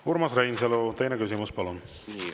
Urmas Reinsalu, teine küsimus, palun!